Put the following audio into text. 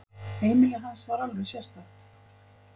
Heimili hans var alveg sérstakt.